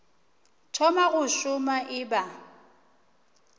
thoma go šoma e ba